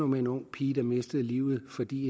med en ung pige der mistede livet fordi